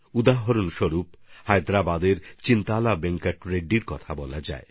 উদাহরণ হিসেবে হায়দ্রাবাদের চিন্তলা বেঙ্কট রেড্ডিজির কথা বলতে হয়